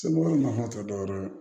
Se mɔgɔ ma tɛ dɔwɛrɛ ye dɛ